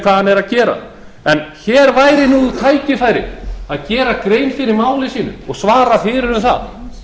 er að gera en hér væri tækifærið að gera grein fyrir máli sínu og svara fyrir um það